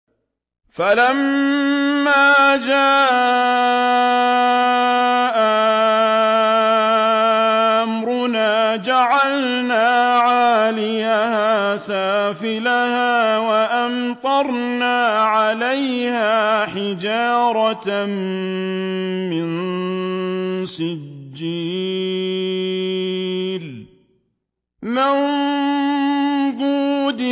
فَلَمَّا جَاءَ أَمْرُنَا جَعَلْنَا عَالِيَهَا سَافِلَهَا وَأَمْطَرْنَا عَلَيْهَا حِجَارَةً مِّن سِجِّيلٍ مَّنضُودٍ